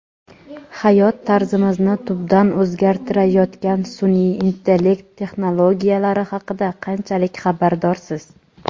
Hayot tarzimizni tubdan o‘zgartirayotgan sunʼiy intellekt texnologiyalari haqida qanchalik xabardorsiz?.